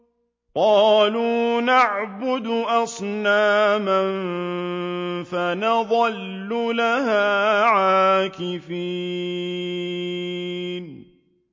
قَالُوا نَعْبُدُ أَصْنَامًا فَنَظَلُّ لَهَا عَاكِفِينَ